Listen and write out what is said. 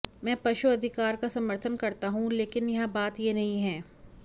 मैं पशु अधिकार का समर्थन करता हूं लेकिन यहां बात यह नहीं है